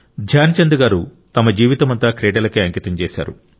ధ్యాన్ చంద్ గారు తమ జీవితమంతా క్రీడలకే అంకితం చేశారు